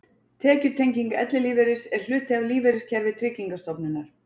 Tekjutenging ellilífeyris er hluti af lífeyriskerfi Tryggingarstofnunar.